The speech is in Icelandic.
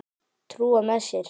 Trúa með sér.